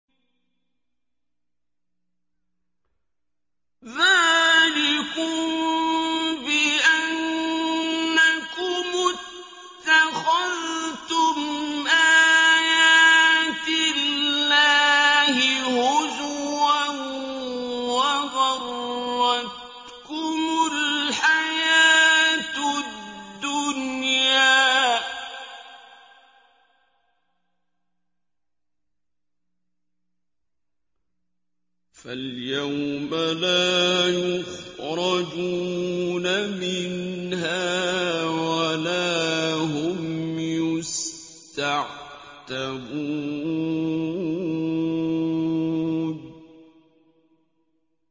ذَٰلِكُم بِأَنَّكُمُ اتَّخَذْتُمْ آيَاتِ اللَّهِ هُزُوًا وَغَرَّتْكُمُ الْحَيَاةُ الدُّنْيَا ۚ فَالْيَوْمَ لَا يُخْرَجُونَ مِنْهَا وَلَا هُمْ يُسْتَعْتَبُونَ